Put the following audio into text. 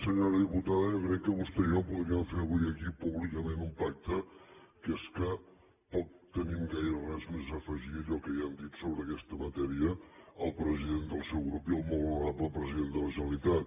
senyora diputada jo crec que vostè i jo podríem fer avui aquí públicament un pacte que és que poc tenim gaire res més a afegir a allò que ja han dit sobre aquesta matèria el president del seu grup i el molt honorable president de la generalitat